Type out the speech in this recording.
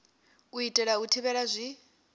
u itela u thivhela zwi